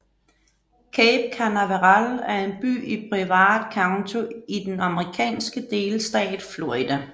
Cape Canaveral er en by i Brevard County i den amerikanske delstat Florida